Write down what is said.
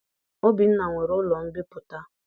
Obinna nwere ụlọ mbipụta.